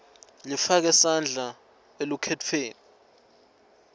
lifake sandla elukhetfweni